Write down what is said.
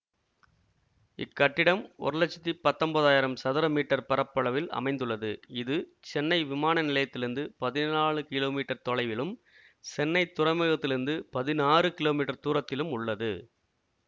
இக்கட்டிடம் ஒரு லட்சத்தி பத்தொன்பதாயிரம் சதுர மீட்டர் பரப்பளவில் அமைந்துள்ளது இது சென்னை விமான நிலையதிலிருந்து பதினாலு கிலோ மீட்டர் தொலைவிலும் சென்னைத் துறைமுகத்திலிருந்து பதினாறு கிலோ மீட்டர் தூரத்திலும் உள்ளது